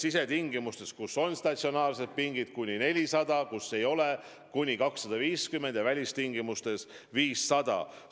Sisetingimustes, kus on statsionaarsed istmed, võib olla kuni 400 inimest, kus ei ole, kuni 250 inimest ja välistingimustes kuni 500 inimest.